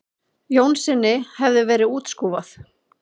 Jónssyni hefði verið útskúfað.